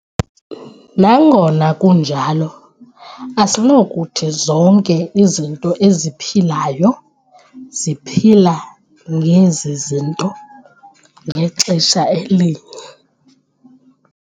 Nangona kunjalo, asinakuthi zonke izinto eziphilayo ziphila ngezi zinto ngexesha elinye.